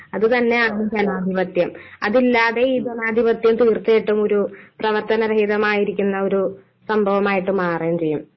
അതുതന്നെയാണ് ജനാധിപത്യം. അതില്ലാതെ ഈ ജനാധിപത്യം തീർച്ചയായിട്ടും ഒരു പ്രവർത്തനരഹിതമായിരിക്കുന്നൊരു സംഭവമായിട്ട് മാറുകയും ചെയ്യും.